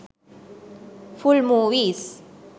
full movies